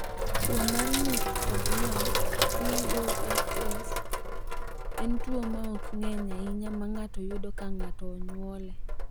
Tuwo mar ng’ut kod wang’ (BOFS) en tuwo ma ok ng’eny ahinya ma ng’ato yudo ka ng’ato onyuole.